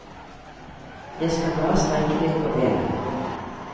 Jeg skal bare strekke litt på bena.